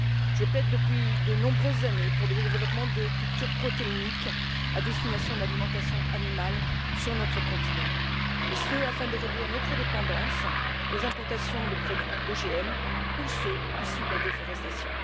Je plaide depuis de nombreuses années pour le développement de cultures protéiniques à destination de l'alimentation animale sur notre continent, et ce afin de réduire notre dépendance aux importations de produits OGM ou de ceux issus de la déforestation.